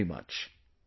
Thank you very much